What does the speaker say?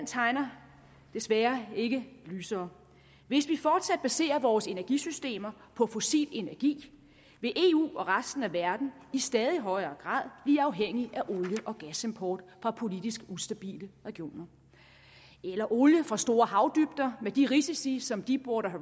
tegner desværre ikke lysere hvis vi fortsat baserer vores energisystemer på fossil energi vil eu og resten af verden i stadig højere grad blive afhængige af olie og gasimport fra politisk ustabile regioner eller olie fra store havdybder med de risici som deepwater